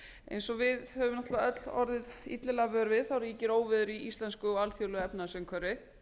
eins og við höfum náttúrlega öll orðið illilega vör við ríkir óveður í íslensku og alþjóðlegu efnahagsumhverfi